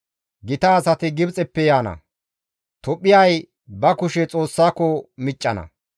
Gita asati Gibxeppe yaana; Tophphiyay ba kushe Xoossako miccana.